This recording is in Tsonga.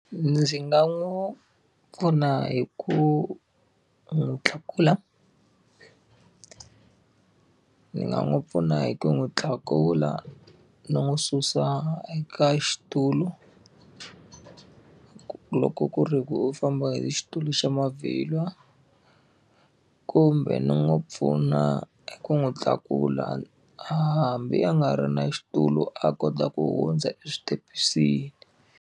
Ndzi nga n'wi pfuna hi ku n'wi tlakula ni nga n'wi pfuna hi ku n'wi tlakula ni n'wi susa eka xitulu, loko ku ri ku u famba hi xitulu xa mavhilwa. Kumbe ni n'wi pfuna ku n'wi tlakula hambi a nga ri na xitulu a kota ku hundza switepisini.